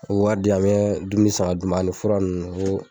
O wari di yan mɛ dumuni san ka d'u ani fura ninnu.